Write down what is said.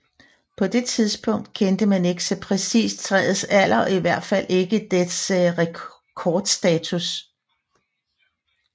På det tidspunkt kendte man ikke så præcist træets alder og i hvert fald ikke dets rekordstatus